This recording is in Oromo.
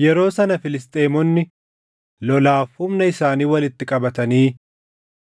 Yeroo sana Filisxeemonni lolaaf humna isaanii walitti qabatanii